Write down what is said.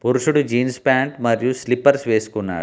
పురుషుడు jeans pant మరియు slippers వేసుకున్నాడు.